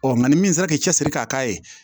nka ni min sera k'i cɛsiri k'a k'a ye